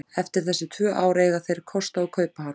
Eftir þessi tvö ár eiga þeir kost á að kaupa hann.